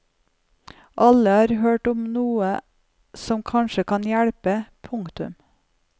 Alle har hørt om noe som kanskje kan hjelpe. punktum